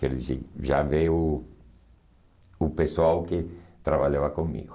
Quer dizer, já veio o o pessoal que trabalhava comigo.